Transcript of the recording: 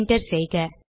enter செய்க